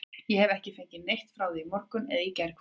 Ég hef ekki fengið neitt frá því í morgun eða gærkvöldi.